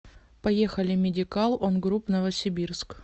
поехали медикал он груп новосибирск